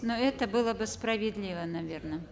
но это было бы справедливо наверно